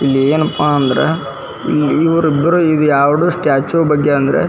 ಇಲ್ಲಿ ಏನಪ್ಪಾ ಅಂದ್ರ ಇಲ್ಲ ಇವ್ರಿಬ್ರು ಇದು ಯಾವುದು ಸ್ಟ್ಯಾಚು ಬಗ್ಗೆ ಅಂದ್ರ --